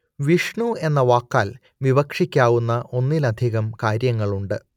വിഷ്ണു എന്ന വാക്കാൽ വിവക്ഷിക്കാവുന്ന ഒന്നിലധികം കാര്യങ്ങളുണ്ട്